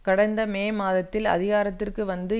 கடந்த மே மாதத்தில் அதிகாரத்திற்கு வந்து